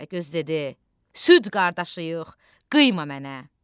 Təpəgöz dedi: Sülh qardaşıyıq, qıyma mənə.